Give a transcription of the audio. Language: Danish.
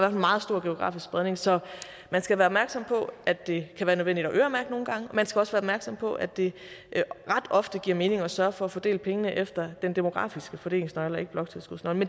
en meget stor geografisk spredning så man skal være opmærksom på at det kan være nødvendigt at øremærke nogle gange man skal også være opmærksom på at det ret ofte giver mening at sørge for at fordele pengene efter den demografiske fordelingsnøgle og ikke bloktilskudsnøglen